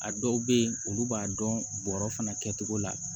A dɔw bɛ yen olu b'a dɔn bɔrɔ fana kɛcogo la